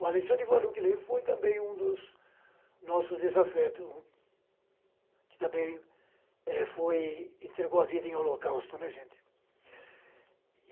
O Alexandre Vanucchi Leme foi também um dos nossos desafeto, que também entregou a vida em holocausto, né gente.